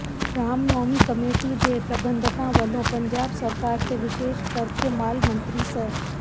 Ram Navami committee ਦੇ ਪ੍ਰਬੰਧਕਾਂ ਵਲੋਂ ਪੰਜਾਬ ਸਰਕਾਰ ਤੇ ਵਿਸ਼ੇਸ਼ ਕਰਕੇ ਮਾਲ ਮੰਤਰੀ ਸ